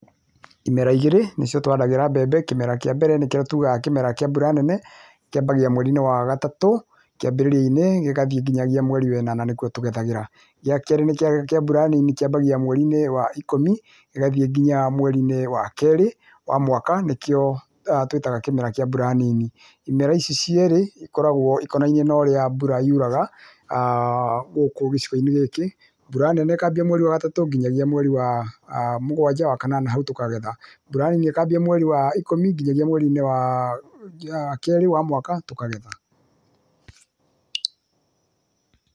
Imera igĩrĩ nĩcio twaragĩra mbembe, kĩmera kĩa mbere nĩkĩo tugaga kĩmera kĩa mbura nene, kĩambagia mweri-inĩ wagatatũ kĩambĩrĩria-inĩ gĩgathiĩ nginya mweri-inĩ wa ĩnana nĩkuo tũgethagĩra. Gĩa kerĩ nĩkĩa mbura nini kĩambagia mweri-inĩ wa ikũmi gĩgathiĩ nginya mweri-inĩ wa kerĩ wa mwaka, nĩkĩo twĩtaga kĩmera kĩa mbura nini. Imera ici cierĩ ikoragwo ikonainie na ũrĩa mbura yuraga gũkũ gĩcigo-inĩ gĩkĩ. Mbura nene ĩkambia mweri wa gatatũ nginyagia mweri wa mũgwanja wa kanana hau tũkagetha, mbura nini ĩkambia mweri wa ikũmi nginyagia mweri-inĩ wa kerĩ wa mwaka tũkagetha.